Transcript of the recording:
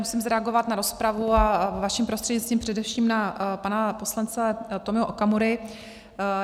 Musím zareagovat na rozpravu a vaším prostřednictvím především na pana poslance Tomio Okamuru.